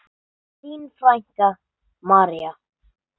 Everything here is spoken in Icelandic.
Þín frænka, María.